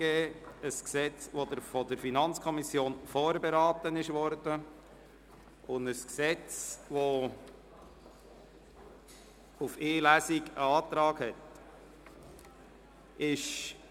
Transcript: Dieses Gesetz ist von der FiKo vorberaten worden, und es liegt ein Antrag auf Durchführung von nur einer Lesung vor.